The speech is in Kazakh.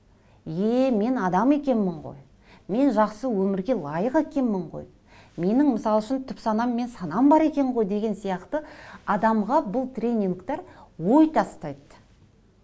еее мен адам екенмін ғой мен жақсы өмірге лайық екенмін ғой менің мысал үшін түпсанам мен санам бар екен ғой деген сияқты адамға бұл тренингтер ой тастайды